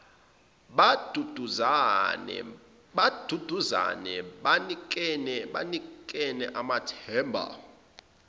baduduzane banikane amathemba